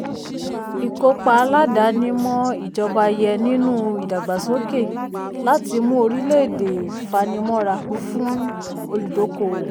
ìkópa aládàáni-mọ́-ìjọba yẹ nínú ìdàgbàsókè láti mú orílẹ̀-èdè fanimọ́ra fún olùdókòwò.